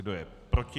Kdo je proti?